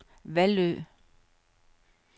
Vallø